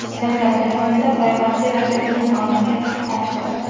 Janjal jarayonida payvandchi raqibining qorniga tig‘ sanchdi.